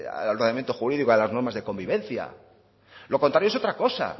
al ordenamiento jurídico y a las normas de convivencia lo contrario es otra cosa